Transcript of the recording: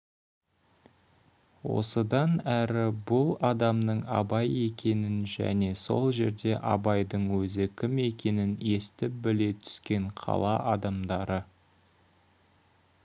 осыдан әрі бұл адамның абай екенін және сол жерде абайдың өзі кім екенін естіп біле түскен қала адамдары